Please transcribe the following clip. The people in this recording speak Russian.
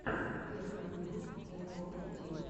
первый выпуск якурус тим